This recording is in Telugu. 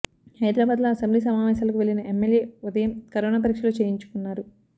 హైదరాబాద్లో అసెంబ్లీ సమావేశాలకు వెళ్లిన ఎమ్మెల్యే ఉదయం కరోనా పరీక్షలు చేయించుకున్నారు